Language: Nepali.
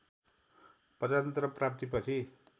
प्रजातन्त्र प्राप्ति पछि